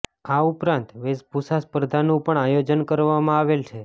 આ ઉપરાંત વેશભૂષા સ્પર્ધાનું પણ આયોજન કરવામાં આવેલ છે